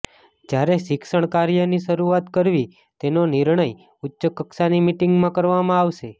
જ્યારે શિક્ષણ કાર્યની શરૂઆત કરવી તેનો નિર્ણય ઉચ્ચ કક્ષાની મિટિંગમાં કરવામાં આવશે